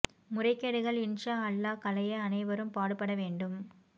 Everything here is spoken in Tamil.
முறைகேடுகள் இன்ஷா அல்லாஹ் களைய அனைவரும் பாடுபடவேண்டும்